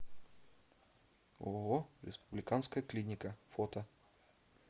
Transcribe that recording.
ооо республиканская клиника фото